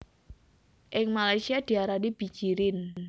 Ing Malaysia diarani bijirin